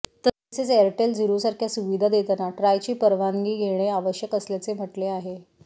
तसेच एअरटेल झीरोसारख्या सुविधा देताना ट्रायची परवानगी घेणे आवश्यक असल्याचे म्हटले आहे